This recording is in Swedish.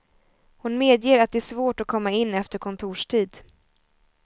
Hon medger att det är svårt att komma in efter kontorstid.